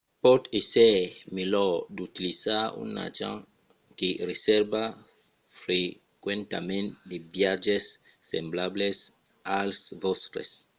pòt èsser melhor d’utilizar un agent que resèrva frequentament de viatges semblables als vòstres